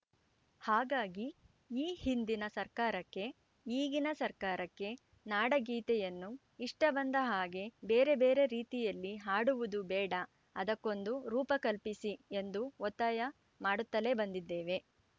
ಹಾಗಾಗಿ ಈ ಹಿಂದಿನ ಸರ್ಕಾರಕ್ಕೆ ಈಗಿನ ಸರ್ಕಾರಕ್ಕೆ ನಾಡಗೀತೆಯನ್ನು ಇಷ್ಟಬಂದ ಹಾಗೆ ಬೇರೆ ಬೇರೆ ರೀತಿಯಲ್ಲಿ ಹಾಡುವುದು ಬೇಡ ಅದಕ್ಕೊಂದು ರೂಪ ಕಲ್ಪಿಸಿ ಎಂದು ಒತ್ತಾಯ ಮಾಡುತ್ತಲೇ ಬಂದಿದ್ದೇವೆ